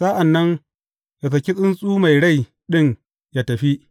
Sa’an nan ya saki tsuntsu mai rai ɗin ya tafi.